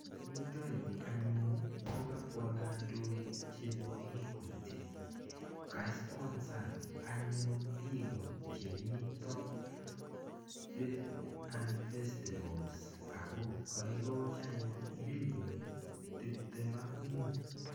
Yutoyu anyun, ko kabwa kandoik chebo Equity. Kasponsan anyun biiko chemito and festivals. Ako kaikochi anyun milionit tiptem ak mut.